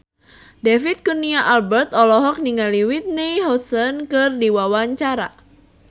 David Kurnia Albert olohok ningali Whitney Houston keur diwawancara